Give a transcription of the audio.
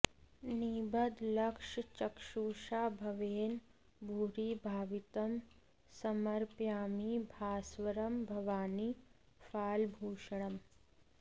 निबद्धलक्षचक्षुषा भवेन भूरि भावितं समर्पयामि भास्वरं भवानि फालभूषणम्